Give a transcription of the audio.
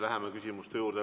Läheme küsimuste juurde.